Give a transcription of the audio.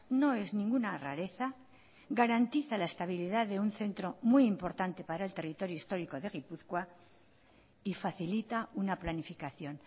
no es ninguna rareza garantiza la estabilidad de un centro muy importante para el territorio histórico de gipuzkoa y facilita una planificación